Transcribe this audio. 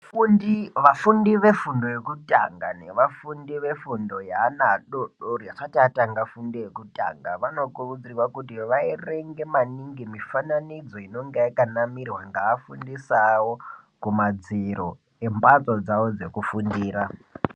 Vafundi vefundo yokutanga nevafundi vefundo yevana vadodori vasati vatanga nefundo vanokurudzirwa kuti vaerenge maningi mifananidzo inenge yakanamirwa ngevafundisi vavo kumadziro kwembatso dzawo dzekufundira.